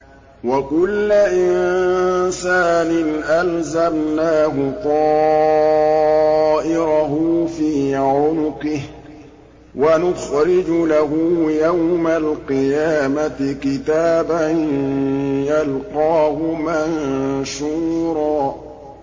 وَكُلَّ إِنسَانٍ أَلْزَمْنَاهُ طَائِرَهُ فِي عُنُقِهِ ۖ وَنُخْرِجُ لَهُ يَوْمَ الْقِيَامَةِ كِتَابًا يَلْقَاهُ مَنشُورًا